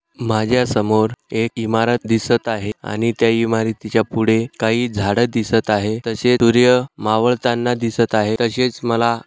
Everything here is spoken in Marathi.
माझ्या समोर एक इमारत दिसत आहे आणि त्या इमारतीच्या पुढे काही झाड दिसत आहे तशे सूर्य मावळताना दिसत आहे तसेच मला--